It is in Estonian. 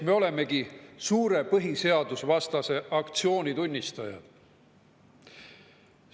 Me olemegi suure põhiseadusvastase aktsiooni tunnistajad.